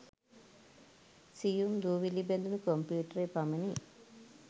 සියුම් දූවිලි බැඳුණු කොම්පියුටරය පමණි.